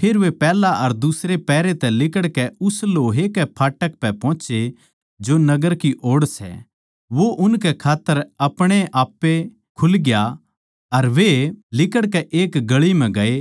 फेर वे पैहल्या अर दुसरे पहरे तै लिकड़कै उस लोहे के फाटक पै पोहोचे जो नगर की ओड़ सै वो उनकै खात्तर अपणेआप्पे खुलग्या अर वे लिकड़कै एक गळी म्ह गए